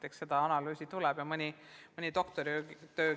Eks seda analüüsitakse ja kirjutatakse mõni doktoritöö.